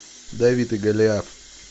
давид и голиаф